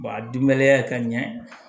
a dunbaliya ye ka ɲɛ